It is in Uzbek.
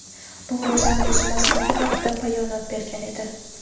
bu ro‘zani buzmasligi haqida bayonot bergan edi.